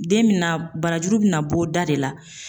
Den bɛ na barajuru bɛ na bɔ da de la.